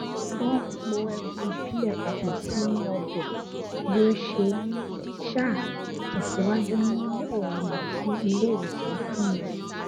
wọn n po ẹbu ìbílẹ papọ sínú ọbẹ bí ó ṣe n um tẹsíwájú nínú òògùn tí ilé ìwòsàn fún un